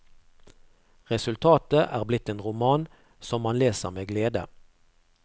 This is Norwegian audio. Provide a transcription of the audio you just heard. Resultatet er blitt en roman, som man leser med glede.